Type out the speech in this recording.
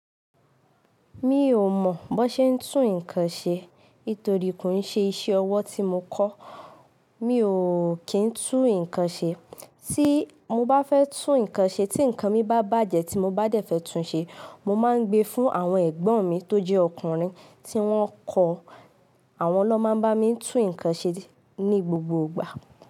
Mi ò mọ̀ bó ṣe ń tún nǹkan ṣe, torí kò n ṣe iṣẹ́ ọwọ́ tí mo kọ́. Mi ò kí n tún nǹkan ṣe. Tí mo bá fẹ́ tún nǹkan ṣe, tí nǹkan mi bá bàjẹ́ tí mo bá dẹ̀ fẹ́ tún ṣe, mo máa ń gbé e fún àwọn ẹ̀gbọ́n mi tó jẹ́ ọkùnrin tí wọ́n kọ́. Àwọn ló máa ń bá mi tún nǹkan ṣe ní gbogbo ìgbà.